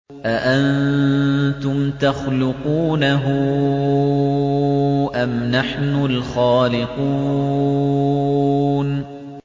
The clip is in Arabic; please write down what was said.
أَأَنتُمْ تَخْلُقُونَهُ أَمْ نَحْنُ الْخَالِقُونَ